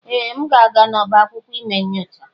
Ee! M ga-aga n'ọba akwụkwọ ime nyocha?